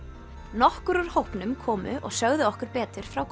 nokkur úr hópnum komu og sögðu okkur betur frá